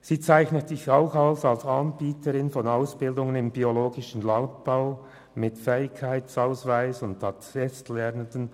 Sie bietet verschiedene Ausbildungen im biologischen Landbau an, wozu Lehren mit Eidgenössischen Fähigkeitszeugnis (EFZ) sowie Attest- und Vorlehren gehören.